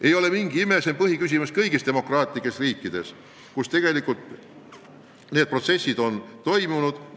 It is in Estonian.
Ei ole mingi uudis, et see on põhiküsimus kõigis demokraatlikes riikides, kus need protsessid on toimunud.